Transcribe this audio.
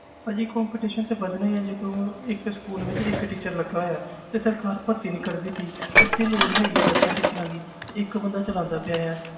ਭਾਜੀ competition ਤੇ ਵੱਧਣਾ ਹੀ ਹੈ ਜਦੋਂ ਇੱਕ school ਵਿੱਚ ਇੱਕ teacher ਲੱਗਾ ਹੋਇਆ ਤੇ ਸਰਕਾਰ ਭਰਤੀ ਨੀ ਕਰਦੀ ਪਈ ਉੱਥੇ ਲੋੜ ਹੈਗੀ ਹੈ ਦਸਾਂ teachers ਦੀ ਤੇ ਇੱਕ ਬੰਦਾ ਚਲਾਉਂਦਾ ਪਿਆ ਹੈ।